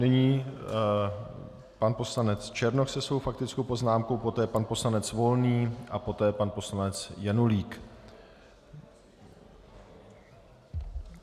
Nyní pan poslanec Černoch se svou faktickou poznámkou, poté pan poslanec Volný a poté pan poslanec Janulík.